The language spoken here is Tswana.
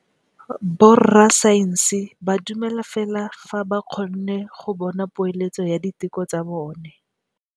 Borra saense ba dumela fela fa ba kgonne go bona poeletsô ya diteko tsa bone.